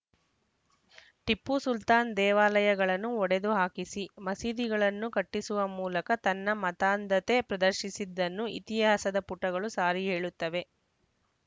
ಟಿಪ್ಪು ಸುಲ್ತಾನ್‌ ದೇವಾಲಯಗಳನ್ನು ಒಡೆದು ಹಾಕಿಸಿ ಮಸೀದಿಗಳನ್ನು ಕಟ್ಟಿಸುವ ಮೂಲಕ ತನ್ನ ಮತಾಂಧತೆ ಪ್ರದರ್ಶಿಸಿದ್ದನ್ನು ಇತಿಹಾಸದ ಪುಟಗಳು ಸಾರಿ ಹೇಳುತ್ತವೆ